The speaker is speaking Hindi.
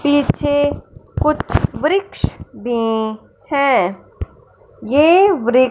पीछे कुछ वृक्ष भी हैं ये वृक्ष--